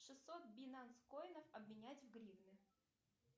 шестьсот бинансе коинов обменять в гривны